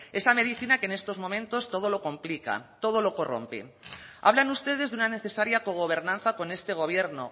esa medicina que en estos momentos todo lo complica todo lo corrompe hablan ustedes de una necesaria cogobernanza con este gobierno